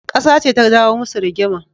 Kasa ce ta jawo musu rigima.